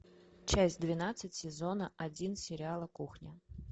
часть двенадцать сезона один сериала кухня